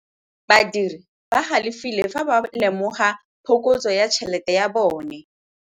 Badiri ba galefile fa ba lemoga phokotsô ya tšhelête ya bone.